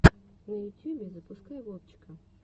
на ютьюбе запускай вовчика